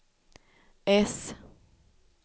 äss